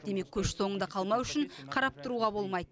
демек көш соңында қалмау үшін қарап тұруға болмайды